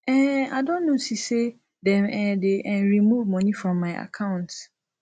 um i don notice say dem um dey um remove money from my account